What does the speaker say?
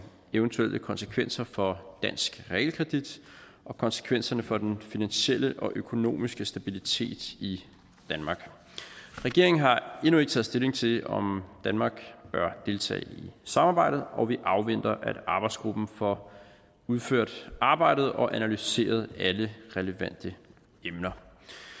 eventuelle konsekvenser for dansk realkredit og konsekvenserne for den finansielle og økonomiske stabilitet i danmark regeringen har endnu ikke taget stilling til om danmark bør deltage i samarbejdet og vi afventer at arbejdsgruppen får udført arbejdet og analyseret alle relevante emner